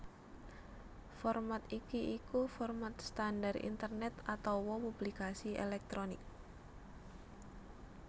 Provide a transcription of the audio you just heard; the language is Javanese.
Format iki iku format standar Internet atawa publikasi elektronik